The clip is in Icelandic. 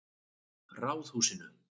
Ráðhúsinu